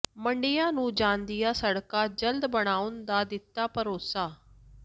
ਮੰਡੀਆਂ ਨੂੰ ਜਾਂਦੀਆਂ ਸੜਕਾਂ ਜਲਦ ਬਣਾਉਣ ਦਾ ਦਿੱਤਾ ਭਰੋਸਾ